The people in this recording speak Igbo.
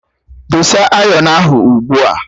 Dosa ayọnu ahụ ugbu a!